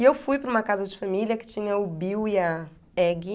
E eu fui para uma casa de família que tinha o Bill e a Eggie.